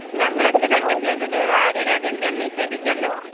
ഞങ്ങൾ എന്ത് തെറ്റാ ചെയ്തത് ആര്യ രാജേന്ദ്രൻ നിഷേധിച്ചല്ലോ.